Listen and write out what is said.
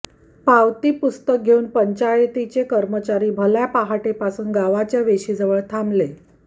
पावती पुस्तक घेऊन पंचायतीचे कर्मचारी भल्या पहाटेपासून गावच्या वेशिजवळ थांबलं